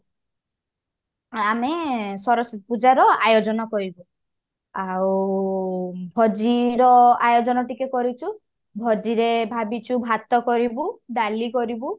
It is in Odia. ଆମେ ସରସ୍ଵତୀ ପୂଜା ର ଆୟୋଜନ କରିବୁ ଆଉ ଭୋଜି ର ଆୟୋଜନ ଟିକେ କରିଛୁ ଭୋଜି ରେ ଭାବିଛୁ ଭାତ କରିବୁ ଡାଲି କରିବୁ